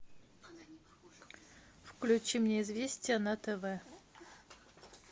включи мне известия на тв